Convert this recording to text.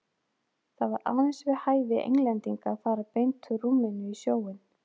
Það var aðeins við hæfi Englendinga að fara beint úr rúminu í sjóinn.